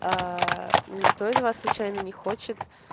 никто из вас случайно не хочет